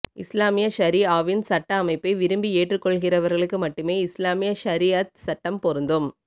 இஸ்லாமிய ஷரீஆ வின் சட்ட அமைப்பை விரும்பி ஏற்றுக் கொள்கிறவர்களுக்கு மட்டுமே இஸ்லாமிய ஷரீஅத் சட்டம் பெருந்தும்